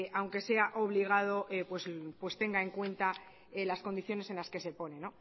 aunque sea obligado pues tenga en cuenta las condiciones en las que se pone